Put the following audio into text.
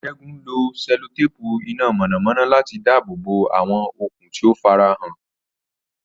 Ṣẹ́gun lo sẹ́lótéèpù iná mọ̀nàmọ́ná láti dáàbò bo àwọn okùn tí ó farahàn.